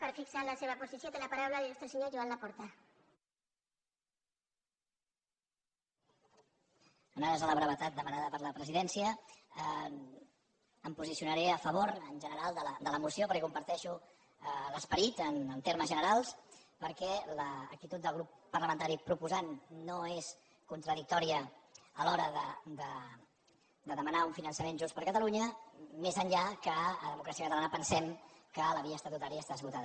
en ares a la brevetat demanada per la presidència em posicionaré a favor en general de la moció perquè en comparteixo l’esperit en termes generals perquè l’acti·tud del grup parlamentari proposant no és contradictò·ria a l’hora de demanar un finançament just per a ca·talunya més enllà que a democràcia catalana pensem que la via estatutària està esgotada